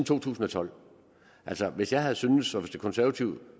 to tusind og tolv altså hvis jeg havde syntes og hvis det konservative